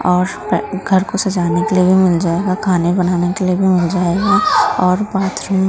और घर को सजाने के लिए भी मिल जाएगा खाने बनाने के लिए भी मिल जाएगा और बाथरूम --